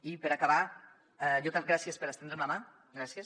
i per acabar gràcies per estendre’m la ma gràcies